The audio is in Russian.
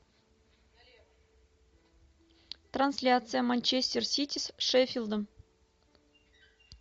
трансляция манчестер сити с шеффилдом